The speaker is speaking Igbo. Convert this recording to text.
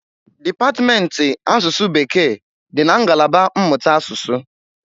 Dipatmentị asụsụ bekee dị na ngalaba mmụta asụsụ.